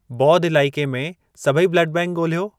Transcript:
बौध इलाइके में सभई ब्लड बैंक ॻोल्हियो।